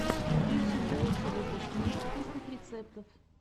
включи мне лучший выпуск мира вкусных рецептов